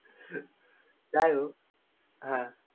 যাই হোক হ্যা